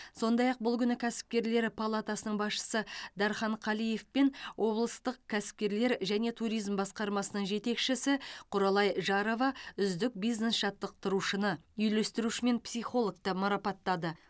сондй ақ бұл күні кәсіпкерлер палатасының басшысы дархан қалиев пен облыстық кәсіпкерлер және туризм басқармасының жетекшісі құралай жарова үздік бизнес жаттықтырушыны үйлестіруші мен психологты марапаттады